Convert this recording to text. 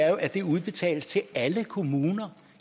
er at det udbetales til alle kommuner